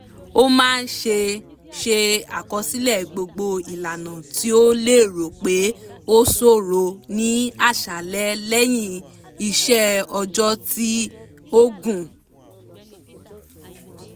ó máa ṣe ṣe àkọsílẹ̀ gbogbo ìlànà tí ó lérò pé ó ṣòro ní àṣálẹ́ lẹ̀yín iṣẹ́ ọjọ́ tí ó gùn